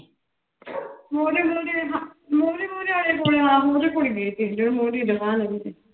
ਮੂਹਰੇ ਮੂਹਰੇ ਹਾਂ ਮੂਹਰੇ ਮੂਹਰੇ ਵਾਲੇ ਕੋਲੇ ਹਾਂ ਉਹਦੇ ਕੋਲੇ ਹੀ ਗਈ ਸੀ ਜਿਹਦੀ ਮੂਹਰੇ ਦੁਕਾਨ ਲੱਗੀ ਸੀ।